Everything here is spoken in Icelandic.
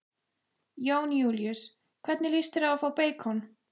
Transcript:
Jón Júlíus: Hvernig lýst þér á að fá beikon?